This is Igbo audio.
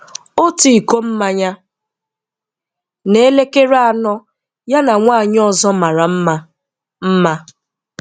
Otu iko mmanya n'elekere anọ ya na nwanyị ọzọ mara mma. mma.